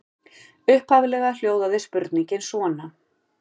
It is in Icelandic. Upphaflega hljóðaði spurningin svona: